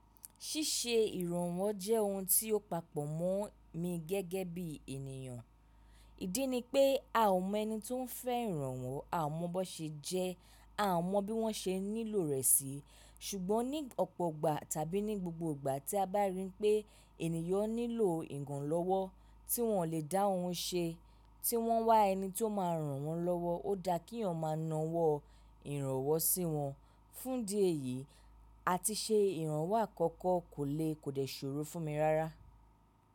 Ṣíṣe ìrànwọ́ jẹ́ ohun tí ó papọ̀ mọ́ mi gẹ́gẹ́ bí ènìyàn. Ìdí ni pé a ò mọ ẹni tí ó ń fẹ́ ìrànwọ́, a ò mọ bó ṣe jẹ ẹ́, a ò mọ bí wọ́n ṣe nílò rẹ̀ sí. Ṣùgbọ́n ní ọ̀pọ̀ ìgbà tàbí ní gbogbo ìgbà tí a bá rí pé ènìyàn nílò ìgàn lọ́wọ́ tí wọ́n ò lè dá ohun ṣe, tí wọ́n wá ẹni tí ó máa ràn wọ́n lọ́wọ́, ó da kíyàn máa na wọ́ ìrànwọ́ sí wọn. Fúndi èyìí, àtiṣe ìrànwọ́ àkọ́kọ́ kò le kò lè ṣòro fún mi rárá.